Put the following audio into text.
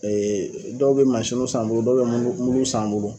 dɔw bi san bolo dɔw be s'an bolo